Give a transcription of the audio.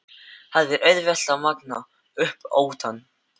Það er auðvelt að magna upp óttann.